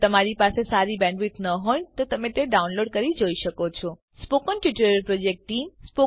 જો તમારી બેન્ડવિડ્થ સારી ન હોય તો તમે ડાઉનલોડ કરી તે જોઈ શકો છો સ્પોકન ટ્યુટોરીયલ પ્રોજેક્ટ ટીમ